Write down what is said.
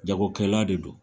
Jagokɛla de don